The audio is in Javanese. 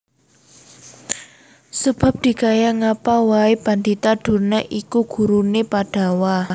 Sebab dikaya ngapaa wae Pandhita Durna iku gurune Pandhawa